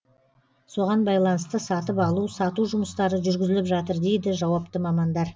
соған байланысты сатып алу сату жұмыстары жүргізіліп жатыр дейді жауапты мамандар